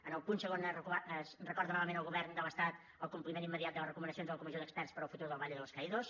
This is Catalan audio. en el punt segon es recorda novament al govern de l’estat el compliment immediat de les recomanacions de la comissió d’experts per al futur del valle de los caídos